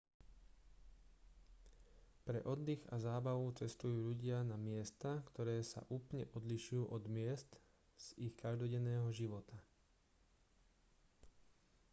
pre oddych a zábavu cestujú ľudia na miesta ktoré sa úplne odlišujú od miest z ich každodenného života